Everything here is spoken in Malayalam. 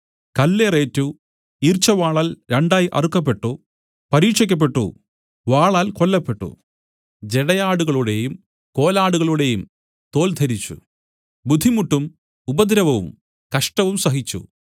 കല്ലേറ് ഏറ്റു ഈർച്ചവാളാൽ രണ്ടായി അറുക്കപ്പെട്ടു പരീക്ഷിക്കപ്പെട്ടു വാളാൽ കൊല്ലപ്പെട്ടു ജടയാടുകളുടെയും കോലാടുകളുടെയും തോൽ ധരിച്ചു ബുദ്ധിമുട്ടും ഉപദ്രവവും കഷ്ടവും സഹിച്ചു